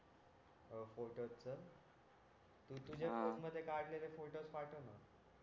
तू तुझ्या फोने मध्ये काढलेले फोटोस पाठवना